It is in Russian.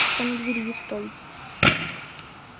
встань у двери и стой